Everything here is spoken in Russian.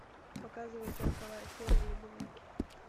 показывай сороковая серия любовники